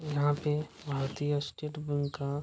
यहाँ पे भारतीय स्टेट बैंक का --